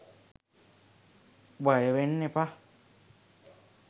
බයවෙන්න එපා.